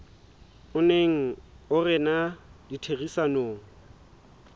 o neng o rena ditherisanong